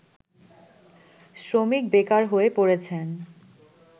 শ্রমিক বেকার হয়ে পড়েছেন